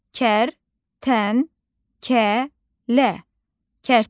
Kərtənkələ.